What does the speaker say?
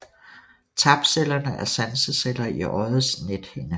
Tapcellerne er sanseceller i øjets nethinde